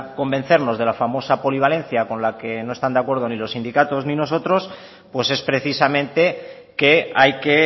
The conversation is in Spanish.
convencernos de la famosa polivalencia con la que no están de acuerdo ni los sindicatos ni nosotros pues es precisamente que hay que